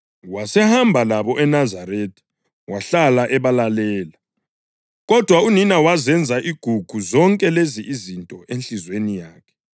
Wasehamba labo eNazaretha wahlala ebalalela. Kodwa unina wazenza igugu zonke lezi izinto enhliziyweni yakhe.